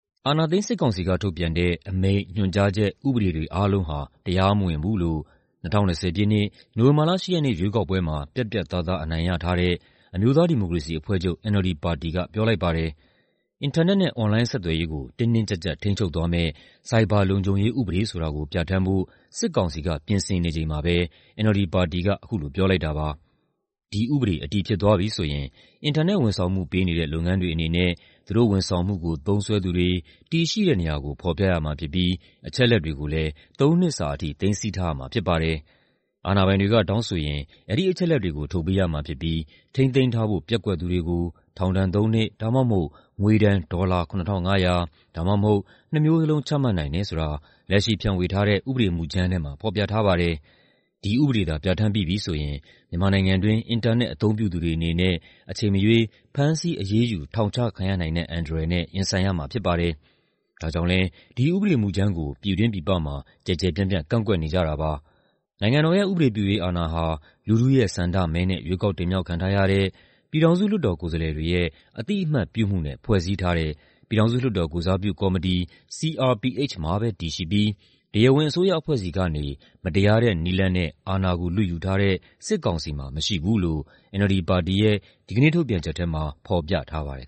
အာဏာသိမ်း စစ်ကောင်စီက ထုတ်ပြန်တဲ့ အမိန့်၊ ညွှန်ကြားချက်၊ ဥပဒေတွေ အားလုံးဟာ တရားမဝင်ဘူးလို့ ၂၀၂၀ ပြည့်နှစ်၊ နိုဝင်ဘာလ ၈ ရက်နေ့ ရွေးကောက်ပွဲမှာ ပြတ်ပြတ်သားသား အနိုင်ရထားတဲ့ အမျိုးသားဒီမိုကရေစီအဖွဲ့ချုပ် (NLD) ပါတီက ပြောလိုက်ပါတယ်။ အင်တာနက်နဲ့ အွန်လိုင်း ဆက်သွယ်ရေးကို တင်းတင်းကျပ်ကျပ် ထိန်းချုပ်သွားမယ့် ဆိုင်ဘာလုံခြုံရေးဥပဒေ ဆိုတာကို ပြဋ္ဌာန်းဖို့ စစ်ကောင်စီက ပြင်ဆင်နေချိန်မှာပဲ NLD ပါတီက အခုလို ပြောလိုက်တာပါ။ ဒီဥပဒေ အတည်ဖြစ်သွားပြီဆိုရင် အင်တာနက်ဝန်ဆောင်မှု ပေးနေတဲ့ လုပ်ငန်းတွေအနေနဲ့ သူတို့ဝန်ဆောင်မှုကို သုံးစွဲသူတွေ တည်ရှိတဲ့နေရာကို ဖော်ပြရမှာဖြစ်ပြီး အချက်အလက်တွေကိုလည်း ၃ နှစ်စာအထိ သိမ်းဆည်းထားရမှာ ဖြစ်ပါတယ်။ အာဏာပိုင်တွေက တောင်းဆိုရင် အဲဒီအချက်အလက်တွေကို ထုတ်ပေးရမှာဖြစ်ပြီး ထိန်းသိမ်းထားဖို့ ပျက်ကွက်သူတွေကို ထောင်ဒဏ် ၃ နှစ် ဒါမှမဟုတ် ငွေဒဏ် ဒေါ်လာ ၇,၅၀၀ ဒါမှမဟုတ် နှစ်မျိုးလုံး ချမှတ်နိုင်တယ်ဆိုတာ လက်ရှိဖြန့်ဝေထားတဲ့ ဥပဒေမူကြမ်းထဲမှာ ဖော်ပြထားပါတယ်။ ဒီဥပဒေသာ ပြဋ္ဌာန်းပြီးပြီဆိုရင် မြန်မာနိုင်ငံတွင်း အင်တာနက် အသုံးပြုသူတွေအနေနဲ့ အချိန်မရွေး ဖမ်းဆီးအရေးယူ ထောင်ချခံရနိုင်တဲ့ အန္တရာယ်နဲ့ ရင်ဆိုင်ရမှာ ဖြစ်ပါတယ်။ ဒါကြောင့်လည်း ဒီဥပဒေမူကြမ်းကို ပြည်တွင်းပြည်ပမှာ ကျယ်ကျယ်ပြန့်ပြန့် ကန့်ကွက်နေကြတာပါ။ နိုင်ငံတော်ရဲ့ ဥပဒေပြုရေးအာဏာဟာ လူထုရဲ့ဆန္ဒမဲနဲ့ ရွေးကောက်တင်မြှောက်ခံထားရတဲ့ ပြည်ထောင်စုလွှတ်တော် ကိုယ်စားလှယ်တွေရဲ့ အသိအမှတ်ပြုမှုနဲ့ ဖွဲ့စည်းထားတဲ့ ပြည်ထောင်စုလွှတ်တော် ကိုယ်စားပြုကော်မတီ (CRPH) မှာပဲ တည်ရှိပြီး တရားဝင် အစိုးရအဖွဲ့ဆီကနေ မတရားတဲ့ နည်းလမ်းနဲ့ အာဏာကို လုယူထားတဲ့ စစ်ကောင်စီမှာ မရှိဘူးလို့ NLD ပါတီရဲ့ ဒီကနေ့ထုတ်ပြန်ချက်ထဲမှာ ဖော်ပြထားပါတယ်